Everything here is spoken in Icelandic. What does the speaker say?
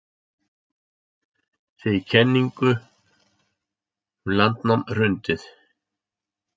Segir kenningum um landnám hrundið